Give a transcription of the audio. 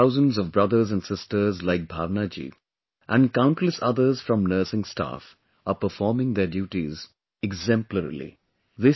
Hundreds of thousands of brothers and sisters like Bhavana Ji and countless others from Nursing Staff are performing their duties exemplarily